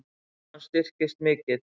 Krónan styrkist mikið